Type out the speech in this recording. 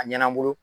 A ɲɛna bolo